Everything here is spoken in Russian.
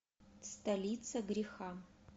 столица греха